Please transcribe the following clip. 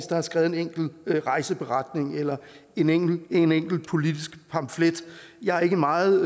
der har skrevet en enkelt rejseberetning eller en enkelt en enkelt politisk pamflet jeg er ikke meget